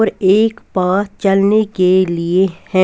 और एक पास चलने के लिए है.